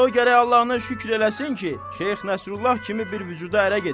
Hələ o gərək Allahına şükür eləsin ki, Şeyx Nəsrullah kimi bir vücuda ərə gedir.